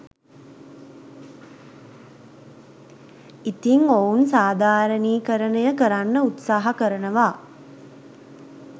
ඉතින් ඔවුන් සාධාරණීයකරණය කරන්න උත්සාහ කරනවා